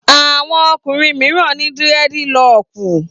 Àwọn ọkùnrin mìíràn ní dírẹ́dilọkù